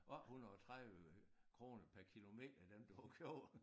Over 130 kroner per kilometer den du har købt